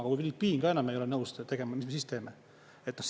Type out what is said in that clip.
Aga kui filipiin ka enam ei ole nõus tegema, mis me siis teeme?